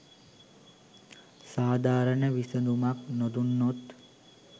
සාධාරණ විසඳුමක් නොදුන්නොත්